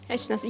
Heç nə.